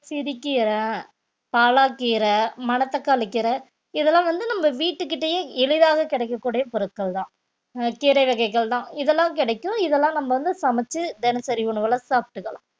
சிறுகீரை, பாலாக்கீரை, மணத்தக்காளி கீரை, இதெல்லாம் வந்து நம்ம வீட்டுக்கிட்டயே எளிதாக கிடைக்கக்கூடிய பொருட்கள்தான் அஹ் கீரை வகைகள்தான் இதெல்லாம் கிடைக்கும் இதெல்லாம் நம்ம வந்து சமெச்சு தினசரி உணவுல சாப்பிட்டுக்கலாம்